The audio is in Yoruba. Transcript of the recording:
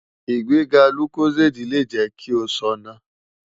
Igbega Locozade le jẹ ki o ṣọna